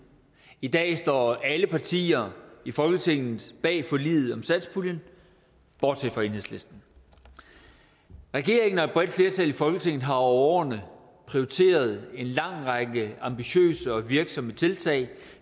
i dag står alle partier i folketinget bag forliget om satspuljen bortset fra enhedslisten regeringen og et bredt flertal i folketinget har over årene prioriteret en lang række ambitiøse og virksomme tiltag